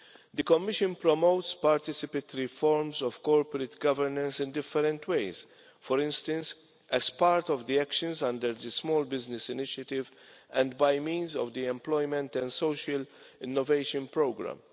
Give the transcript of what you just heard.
The Commission promotes participatory forms of corporate governance in different ways, for instance as part of the actions under the Small Business Initiative and by means of the Employment and Social Innovation Programme.